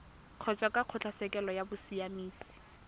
kgotsa kwa kgotlatshekelo ya bosiamisi